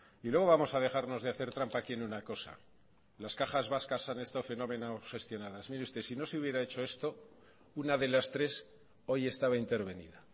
y luego vamos a dejarnos de hacer trampa aquí en una cosa las cajas vascas han estado fenómeno gestionadas mire usted si no se hubiera hecho esto una de las tres hoy estaba intervenida